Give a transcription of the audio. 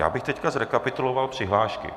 Já bych teď zrekapituloval přihlášky.